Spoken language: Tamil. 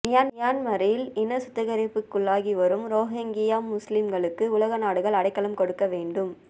மியன்மாரில் இனச்சுத்திகரிப்புக்குள்ளாகிவரும் ரோஹிங்யா முஸ்லிம்களுக்கு உலக நாடுகள் அடைக்கலம் கொடுக்க வேண்டும்